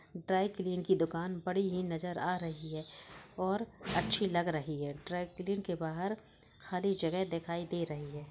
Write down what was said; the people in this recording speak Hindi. ड्राय क्लीन की दुकान बड़ी ही नजर आ रही है और अच्छी लग रही है| ड्राय क्लीन के बाहर हरी जगह दिखाई दे रही है।